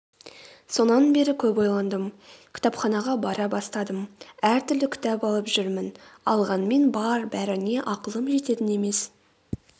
сонан бері көп ойландым кітапханаға бара бастадым әртүрлі кітап алып жүрмін алғанмен бар-бәріне ақылым жететін емес